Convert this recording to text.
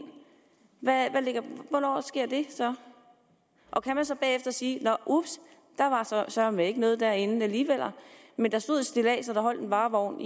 hvornår sker det så og kan man så bagefter sige nå ups der var søreme ikke noget derinde alligevel men der stod et stillads og der holdt en varevogn